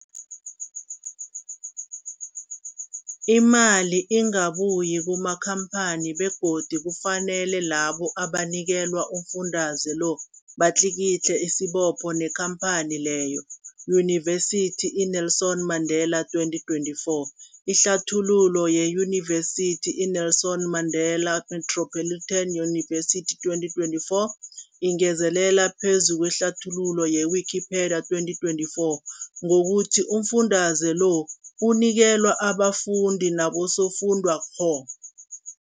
Imali ingabuyi kumakhamphani begodu kufanele labo abanikelwa umfundaze lo batlikitliki isibopho neenkhamphani leyo, Yunivesity i-Nelson Mandela 2024. Ihlathululo yeYunivesithi i-Nelson Mandela Metropolitan University, 2024, ingezelel phezu kwehlathululo ye-Wikipedia, 2024, ngokuthi umfundaze lo unikelwa abafundi nabosofundwakgho.